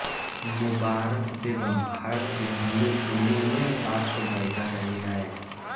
मुबारक़ बेग़म भारत की हिन्दी फ़िल्मों में पार्श्व गायिका रही हैं